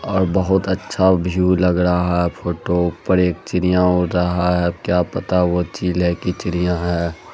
और बहुत अच्छा व्यू लग रहा फोटो पर एक चिड़िया उड़ रहा है अब क्या पता वो चील है की चिड़िया है।